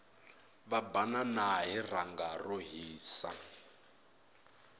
va banana hi rhanga ro hisa